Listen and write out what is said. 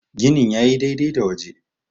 gini ya yi dai-dai da waje